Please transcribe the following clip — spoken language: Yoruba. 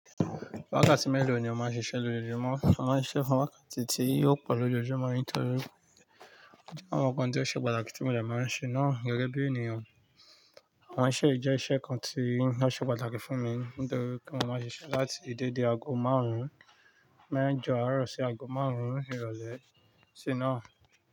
Wákàtí mélòó ni o máa ń ṣiṣẹ́ lójoojúmọ́? Mo máa ń siṣe fún wákàtí tí ó pọ̀ lójoojúmọ́ nítorí àwọn nǹkan tí ó ṣe pàtàkì tí mò de máa ń ṣe náà gẹ́gẹ́ bí ènìyàn. Awon iṣe yii jẹ́ iṣẹ́ kan tí ó ṣe pàtàkì fún mi nítorí kí eeyan máa ṣiṣẹ́ láti dédè aago márùn-ún mẹ́jọ àárọ̀ sí aago márùn-ún ìrọ̀lẹ́ sí náà.